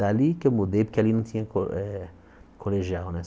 Dali que eu mudei, porque ali não tinha cole eh colegial, né?